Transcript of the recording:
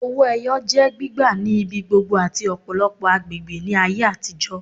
Owó ẹyọ jẹ́ gbígbà ni ibigbogbo ati ọpọlọpọ agbègbè ni ayé atijọ